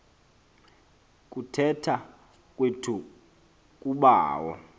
kuthetha kwethu kubawo